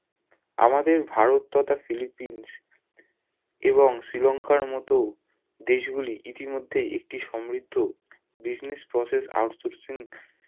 আমাদের ভারত তথা ফিলিপিন্স এবং শ্রীলংকার মতো দেশ গুলি ইতিমধ্যেই একটি সমৃদ্ধ business process outsoursing